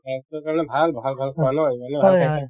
স্বাস্থ্যৰ কাৰণে ভাল ভাল ভাল খোৱা নহয় মানে